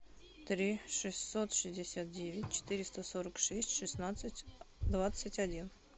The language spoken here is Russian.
три шестьсот шестьдесят девять четыреста сорок шесть шестнадцать двадцать один